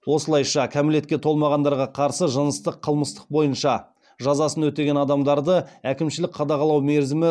осылайша кәмелетке толмағандарға қарсы жыныстық қылмыстық бойынша жазасын өтеген адамдарды әкімшілік қадағалау мерзімі